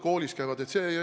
Kus koolis nad käivad?